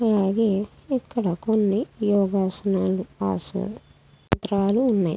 అలాగే ఇక్కడ కొని యోగాసనాలు ఆసన పత్రాలు ఉన్నాయి.